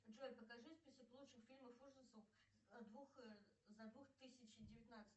джой покажи список лучших фильмов ужасов за двух тысячи девятнадцатый